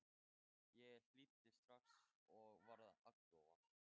Ég hlýddi strax og varð agndofa.